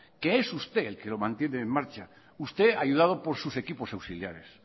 que es usted el que lo mantiene en marcha usted ayudado por sus equipos auxiliares